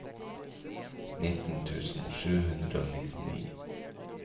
nitten tusen sju hundre og nittini